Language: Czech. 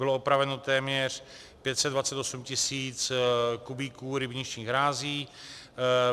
Bylo opraveno téměř 528 tis. kubíků rybničních hrází.